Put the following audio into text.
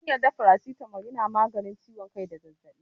An yarda faracitamol na maganin ciwon kai da zazzaɓi.